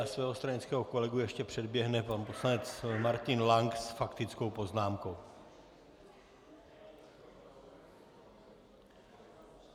A svého stranického kolegu ještě předběhne pan poslanec Martin Lank s faktickou poznámkou.